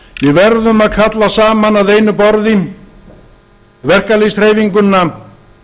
við verðum að kalla saman að einu borði verkalýðshreyfinguna